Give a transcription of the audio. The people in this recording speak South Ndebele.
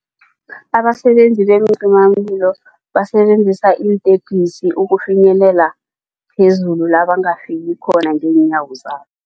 Abasebenzi beencimamlilo basebenzisa iintepisi ukufinyelela phezulu la bangafika khona ngeenyawo zabo.